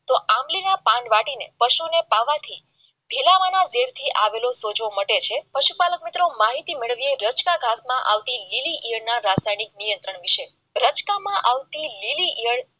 આમલીના પાન વાટીને પશુને પાવાથી આવેલો સોજો માટે છે પશુપાલક મિત્રો માહિતી માટે રોજના માટે નિયંત્રણ વિશે રસ્તામાં આવતી લીલી ઇયળ